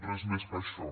res més que això